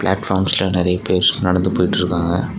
பிளாட்பார்ம்ஸ்ல நெறைய பேர் நடந்து போயிட்டுருக்காங்க.